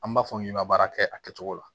An b'a fɔ n k'i ma baara kɛ a kɛcogo la